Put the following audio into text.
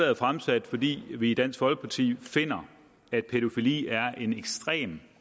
er fremsat fordi vi i dansk folkeparti finder at pædofili er en ekstremt